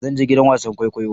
Zan je gidan wasan kwaikwayo